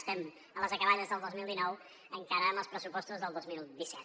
estem a les acaballes del dos mil dinou encara amb els pressupostos del dos mil disset